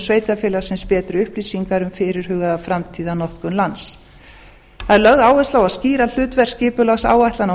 sveitarfélagsins betri upplýsingar um fyrirhugaða framtíðarnotkun lands það er lögð áhersla á að skýra hlutverk skipulagsáætlana á